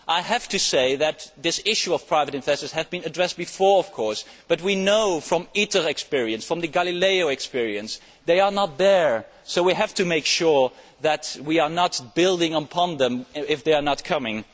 I have to say that this issue of private investors has been addressed before, but we know from the ITER experience and from the GALILEO experience that they are not there, so we have to make sure that we are not building on them if they are not forthcoming.